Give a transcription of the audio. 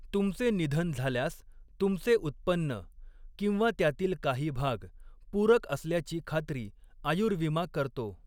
तुमचे निधन झाल्यास तुमचे उत्पन्न किंवा त्यातील काही भाग पूरक असल्याची खात्री आयुर्विमा करतो.